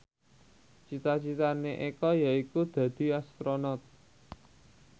cita citane Eko yaiku dadi Astronot